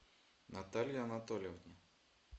наталье анатольевне